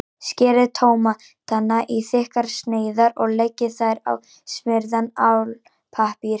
Skerið tómatana í þykkar sneiðar og leggið þær á smurðan álpappír.